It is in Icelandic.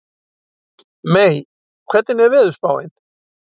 Mey, hvernig er veðurspáin?